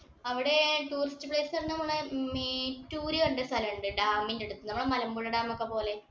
അവിടെ tourist place Mettur എന്നുള്ള സ്ഥലമുണ്ട് dam ഇനടുത്ത്. നമ്മുടെ മലമ്പുഴ dam ഒക്കെ പോലെ.